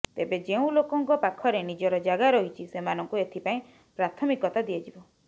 ତେବେ ଯେଉଁ ଲୋକଙ୍କ ପାଖରେ ନିଜର ଜାଗା ରହିଛି ସେମାନଙ୍କୁ ଏଥିପାଇଁ ପ୍ରାଥମିକତା ଦିଆଯିବ